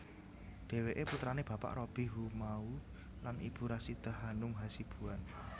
Dheweke putrane Bapak Robby Haumahu lan Ibu Rasidah Hanum Hasibuan